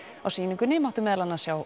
á sýningunni mátti meðal annars sjá